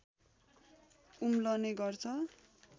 उम्लने गर्छ